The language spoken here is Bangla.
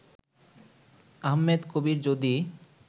আহমেদ কবির যদি